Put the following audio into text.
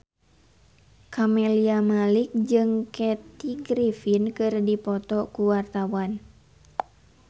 Camelia Malik jeung Kathy Griffin keur dipoto ku wartawan